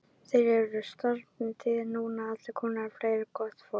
Þeir eru að streyma til mín núna allir kennararnir og fleira gott fólk.